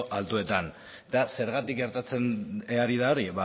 altuetan eta zergatik gertatzen ari da hori